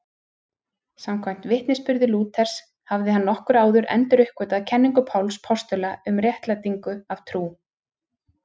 Samkvæmt vitnisburði Lúthers hafði hann nokkru áður enduruppgötvað kenningu Páls postula um réttlætingu af trú.